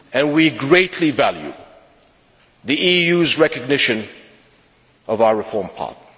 We greatly value the EU's recognition of our reform path.